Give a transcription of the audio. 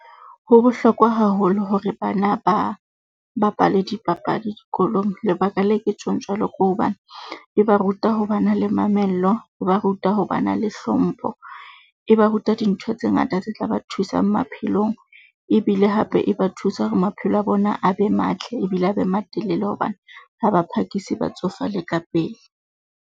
Ho bohlokwa haholo hore bana ba bapale dipapadi dikolong. Lebaka le ke tjhong jwalo ke hobane e ba ruta ho ba na le mamello, e ba ruta ho ba na le hlompho, e ba ruta dintho tse ngata tse tla ba thusang maphelong ebile hape e ba thusa hore maphelo a bona a be matle ebile a be matelele, hobane ha ba phakisi ba tsofale ka pele.